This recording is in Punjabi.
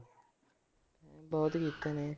ਬਹੁਤ ਕੀਤੇ ਨੇ।